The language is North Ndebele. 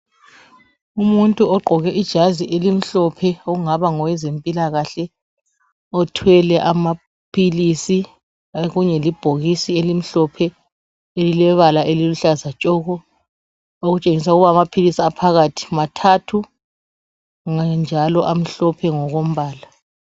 Umuntu ogqoke ijazi elimhlophe ongaba ngowezempilakahle othwele amaphilisi. Okunye libhokisi elimhlophe ,elilebala eliluhlaza tshoko . Okutshengisa ukuba amaphilisi aphakathi mathathu njalo amhlophe ngokombala .